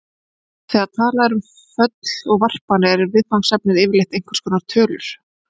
Þegar talað er um föll og varpanir er viðfangsefnið yfirleitt einhvers konar tölur.